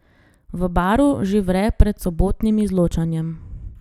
V Baru že vre pred sobotnim izločanjem.